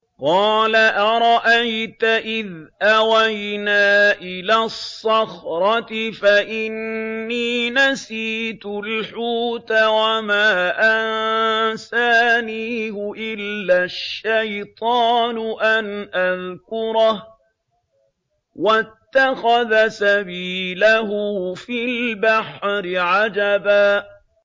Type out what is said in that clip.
قَالَ أَرَأَيْتَ إِذْ أَوَيْنَا إِلَى الصَّخْرَةِ فَإِنِّي نَسِيتُ الْحُوتَ وَمَا أَنسَانِيهُ إِلَّا الشَّيْطَانُ أَنْ أَذْكُرَهُ ۚ وَاتَّخَذَ سَبِيلَهُ فِي الْبَحْرِ عَجَبًا